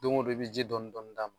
Don o don i bɛ ji dɔɔni dɔɔni k'a la.